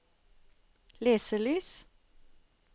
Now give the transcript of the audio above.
leselys